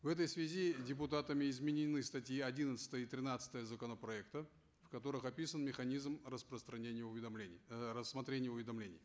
в этой связи депутатами изменены статьи одиннадцатая и тринадцатая законопроекта в которых описан механизм распространения уведомлений э рассмотрения уведомлений